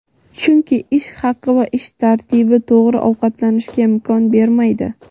chunki ish haqi va ish tartibi to‘g‘ri ovqatlanishga imkon bermaydi;.